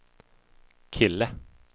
kille